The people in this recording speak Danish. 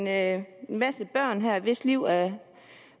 her en masse børn hvis liv er